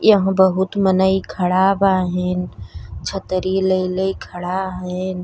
यहाँ बहुत मनइ खड़ा बाहें। छतरी ले ले खड़ा हन।